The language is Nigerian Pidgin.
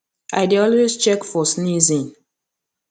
i dey always check for sneezing